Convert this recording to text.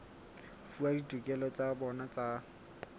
fuwa ditokelo tsa bona tsa